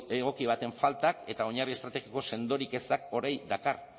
egoki baten faltak eta oinarri estrategiko sendorik ezak horrek dakar